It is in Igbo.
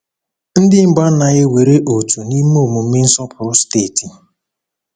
Ndị mbụ anaghị ewere òtù n’ime omume nsọpụrụ steeti.